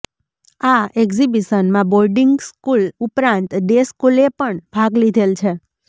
આ એક્ઝિબીશનમાં boarding school ઉપરાંત ડે સ્કુલ એ પણ ભાગ લીધેલ છે